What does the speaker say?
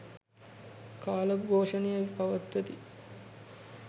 කාල ඝෝෂණය පවත්වති.